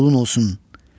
sənin qulun olsun.